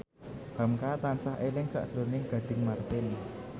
hamka tansah eling sakjroning Gading Marten